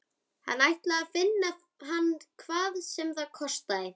Hann ætlaði að finna hann hvað sem það kostaði.